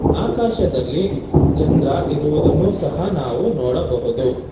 ಆಕಾಶದಲ್ಲಿ ಚಂದ್ರ ಇರುವುದನ್ನು ಸಹ ನಾವು ನೋಡಬಹುದು.